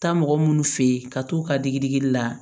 Taa mɔgɔ minnu fɛ yen ka t'u ka digidigi la